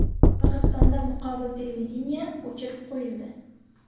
Qirg‘izistonda muqobil televideniye o‘chirib qo‘yildi.